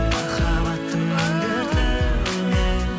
махаббаттың мұң дертінен